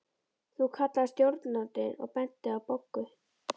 Þú kallaði stjórnandinn og benti á Boggu.